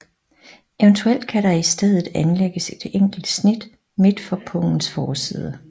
Evt kan der i stedet anlægges et enkelt snit midtfor på pungens forside